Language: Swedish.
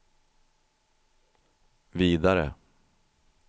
vidare